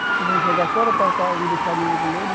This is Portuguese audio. Nós vamos jogar fora para para não deixar ninguém comer?